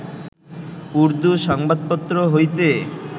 উর্দ্দু সংবাদপত্র হইতে